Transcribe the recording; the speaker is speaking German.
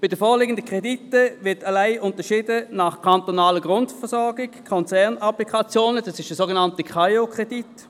Bei den vorliegenden Krediten wird allein unterschieden nach kantonaler Grundversorgung und Konzernapplikationen – dies ist der sogenannte KAIO-Kredit.